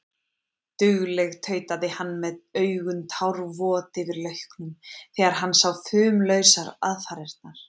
Dugleg, tautaði hann með augun tárvot yfir lauknum þegar hann sá fumlausar aðfarirnar.